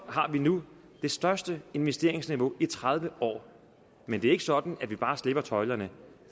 har vi nu det største investeringsniveau i tredive år men det er ikke sådan at vi bare slipper tøjlerne